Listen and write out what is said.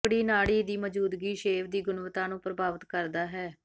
ਮੱਕੜੀ ਨਾੜੀ ਦੀ ਮੌਜੂਦਗੀ ਸ਼ੇਵ ਦੀ ਗੁਣਵੱਤਾ ਨੂੰ ਪ੍ਰਭਾਵਿਤ ਕਰਦਾ ਹੈ